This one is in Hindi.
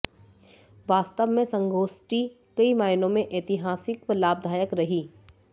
वास्तव में संगोष्ठी कई मायनों में ऐतिहासिक व लाभदायक रही